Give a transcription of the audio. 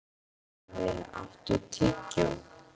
Oktavía, áttu tyggjó?